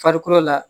Farikolo la